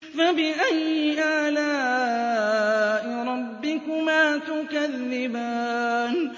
فَبِأَيِّ آلَاءِ رَبِّكُمَا تُكَذِّبَانِ